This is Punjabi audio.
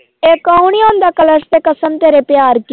ਇੱਕ ਉਹ ਨੀ ਆਉਂਦਾ ਕਲਰਸ ਤੇ ਕਸਮ ਤੇਰੇ ਪਿਆਰ ਕੀ